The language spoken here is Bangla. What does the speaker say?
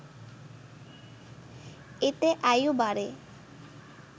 এতে আয়ু বাড়ে